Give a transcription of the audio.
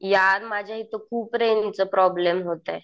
यार माझ्या इथं खूप रेंज चा प्रॉब्लेम होतोय.